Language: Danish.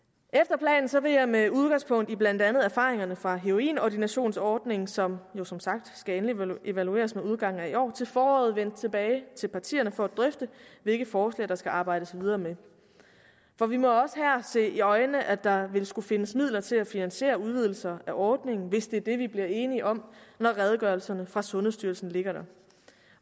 efter planen vil jeg med udgangspunkt i blandt andet erfaringerne fra heroinordinationsordningen som jo som sagt skal endeligt evalueres ved udgangen af i år til foråret vende tilbage til partierne for at drøfte hvilke forslag der skal arbejdes videre med for vi må jo også her se i øjnene at der ville skulle findes midler til at finansiere udvidelser af ordningen hvis det er det vi bliver enige om når redegørelserne fra sundhedsstyrelsen ligger der